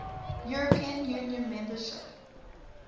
european union membership